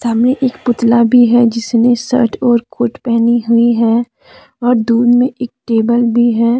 एक पुतला भी है जिसने शर्ट और कोट पहनी हुई है और दूर में एक टेबल भी है।